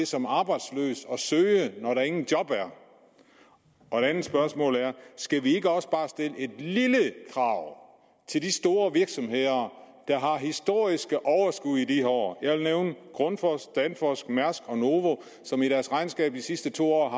som arbejdsløs at søge når der ingen job er og et andet spørgsmål er skal vi ikke også bare stille et lille krav til de store virksomheder der har historiske overskud i de her år jeg vil nævne grundfos danfoss mærsk og novo som i deres regnskab de sidste to år